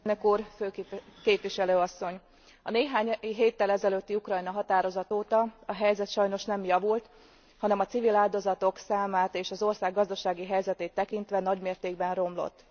Elnök Úr! Főképviselő Asszony! A néhány héttel ezelőtti Ukrajna határozat óta a helyzet sajnos nem javult, hanem a civil áldozatok számát és az ország gazdasági helyzetét tekintve nagymértékben romlott.